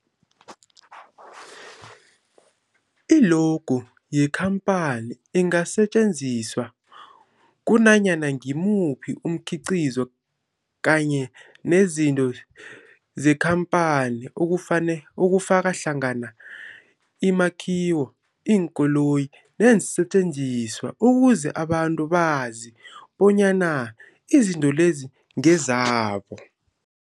I-logo yekhamphani ingasetjenziswa kunanyana ngimuphi umkhiqizo kanye nezinto zekhamphani okufane okufaka hlangana imakhiwo, iinkoloyi neensentjenziswa ukuze abantu bazi bonyana izinto lezo ngezabo.